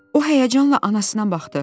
O həyəcanla anasına baxdı.